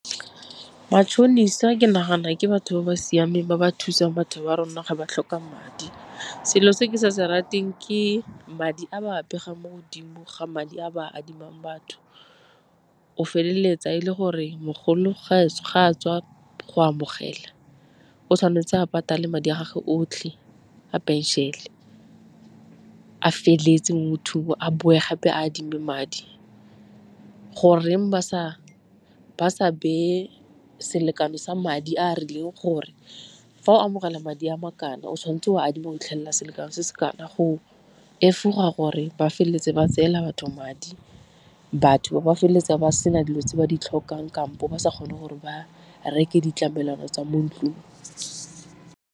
Matšhonisa ke nagana gore batho ba ba siameng ba ba thusang batho ba rona ga ba tlhoka madi, selo se ke sa se rateng ke madi a ba a pegang mo godimo ga madi a ba adimang batho. O feleletsa e le gore mogolo ga a tswa go amogela o tshwanetse a patale madi a gage otlhe a pension-e a feleletse motho oo, a boe gape adime madi. Goreng ba sa beye selekano sa madi a a rileng gore fa o amogela madi a makana o tshwanetse o adima go fitlhelela selekano se se kana, go efoga gore ba feleletse ba tseela batho madi. Batho ba ba feleletsa ba sena dilo tse ba di tlhokang kampo ba sa kgone gore ba reke ditlamelwana tsa mo ntlung.